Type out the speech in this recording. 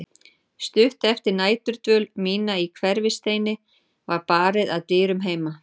Stuttu eftir næturdvöl mína í Hverfisteini var barið að dyrum heima.